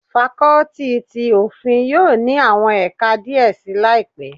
Fakọ́tì ti Òfin yóò ní àwọn ẹ̀ka díẹ̀ si laipe.